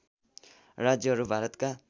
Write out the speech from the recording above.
राज्यहरू भारतका